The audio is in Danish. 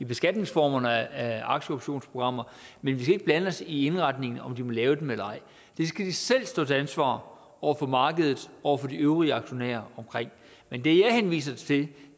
beskatningsformer af aktieoptionsprogrammer men vi skal ikke blande os i indretningen altså om de må lave dem eller ej det skal de selv stå til ansvar over for markedet og over for de øvrige aktionærer men det jeg henviser til